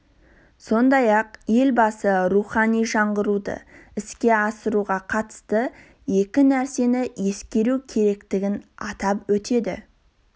сондай-ақ елбасы рухани жаңғыруды іске асыруға қатысты екі нәрсені ескеру керектігін атап өтеді